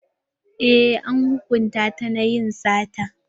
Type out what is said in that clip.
Eh an hukunta ta na yin sata.